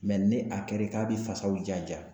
ni a kɛra k'a bɛ fasaw ja-ja